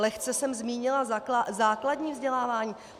Lehce jsem zmínila základní vzdělávání.